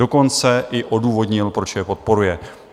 Dokonce i odůvodnil, proč je podporuje.